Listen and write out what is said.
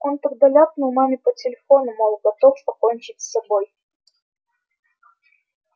он тогда ляпнул маме по телефону мол готов покончить с собой